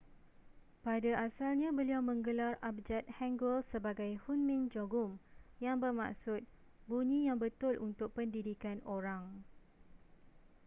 pada asalnya beliau menggelar abjad hanguel sebagai hunmin jeongeum yang bermaksud bunyi yang betul untuk pendidikan orang